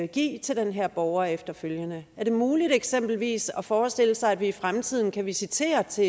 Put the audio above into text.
give til den her borger efterfølgende er det muligt eksempelvis at forestille sig at vi i fremtiden kan visitere til